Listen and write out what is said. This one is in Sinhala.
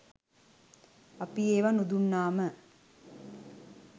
අපි ඒවා නුදුන්නාම